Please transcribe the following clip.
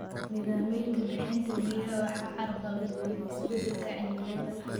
Nidaamyada bixinta biyaha waxaa carqaladeeyay isbeddelka cimilada.